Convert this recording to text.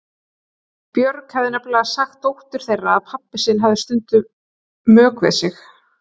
Björg hefði nefnilega sagt dóttur þeirra að pabbi sinn hefði stundum mök við sig.